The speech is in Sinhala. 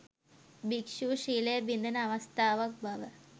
භික්‍ෂූ ශීලය බිඳෙන අවස්ථාවක් බව